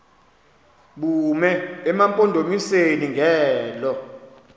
bume emampondomiseni ngelo